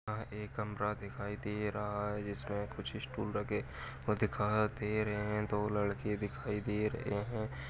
यह एक कमरा दिखाई दे रहा है जिसमे कुछ स्टूल रखे हुए दिखा दे रहे हैं दो लड़के दिखाई दे रहे हैं।